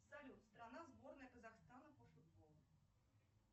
салют страна сборная казахстана по футболу